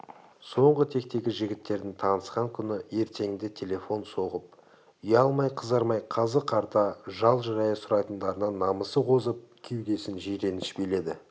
соңғы тектегі жігіттердің танысқан күні ертеңінде телефон соғып ұялмай-қызармай қазы-қарта жал-жая сұрайтындарынан намысы қозып кеудесін жиреніш биледі